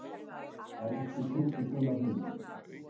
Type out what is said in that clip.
Elsku krúsindúllan mín.